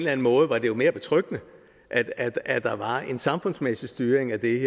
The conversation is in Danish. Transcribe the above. anden måde var det jo mere betryggende at at der var en samfundsmæssig styring af det